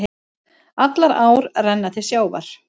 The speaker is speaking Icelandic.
Allar ár renna til sjávar.